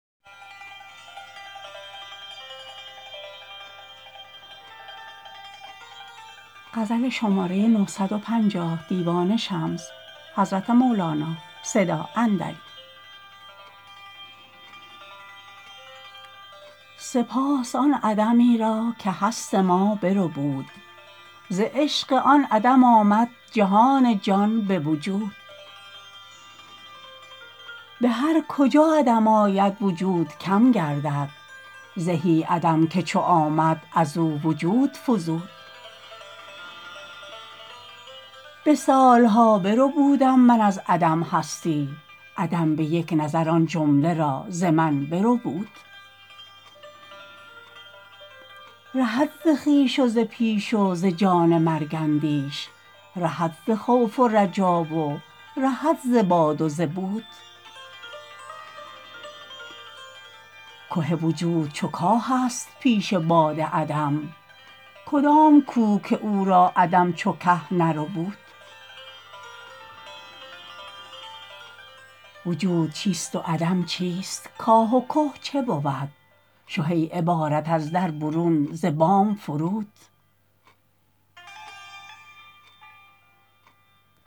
سپاس آن عدمی را که هست ما بربود ز عشق آن عدم آمد جهان جان به وجود به هر کجا عدم آید وجود کم گردد زهی عدم که چو آمد از او وجود فزود به سال ها بربودم من از عدم هستی عدم به یک نظر آن جمله را ز من بربود رهد ز خویش و ز پیش و ز جان مرگ اندیش رهد ز خوف و رجا و رهد ز باد و ز بود که وجود چو کاهست پیش باد عدم کدام کوه که او را عدم چو که نربود وجود چیست و عدم چیست کاه و که چه بود شه ای عبارت از در برون ز بام فرود